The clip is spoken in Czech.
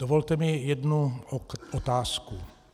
Dovolte mi jednu otázku.